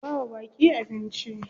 Ku bawa baƙi abnici.